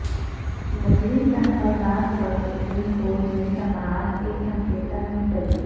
مسلم تحفظات پر supreme court میں سماعت ایک ہفتہ تک ملتوی